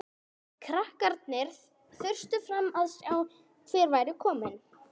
Krakkarnir þustu fram til að sjá hver væri kominn.